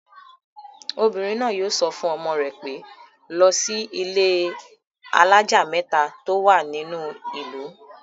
Obìnrin náà yóò sọ fún ọmọ rẹ pé, 'lọ sí ilé-alájà mẹ́ta tó wà nínú ìlú'